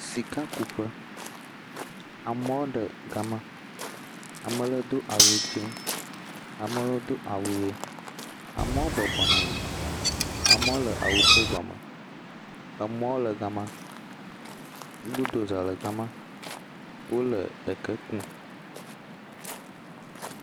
Sikakuƒe, amewo le gema. Ame le do awu dzɛ̃. Ame lewo do awu ʋi. Amewo bɔbɔ nɔ anyi. Amewo le awuʋi gɔme. Amewo le gama. Gbodoza le gama. Wole eke kum.